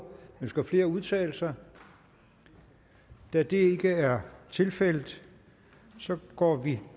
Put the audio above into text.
ønsker flere at udtale sig da det ikke er tilfældet går vi